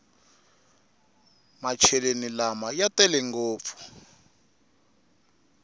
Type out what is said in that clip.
macheleni lama ya tele ngopfu